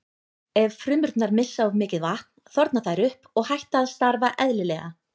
Ef frumurnar missa of mikið vatn þorna þær upp og hætt að starfa eðlilega.